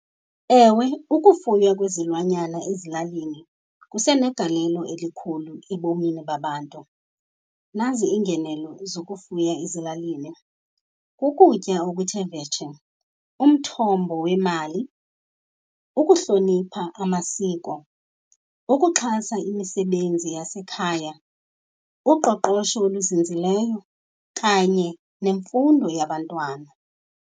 Ewe, ukufuywa kwezilwanyana ezilalini kusenegalelo elikhulu ebomini babantu. Nazi iingenelo zokufuya ezilalini, kukutya okuthe vetshe, umthombo wemali, ukuhlonipha amasiko, ukuxhasa imisebenzi yasekhaya, uqoqosho oluzinzileyo kanye nemfundo yabantwana.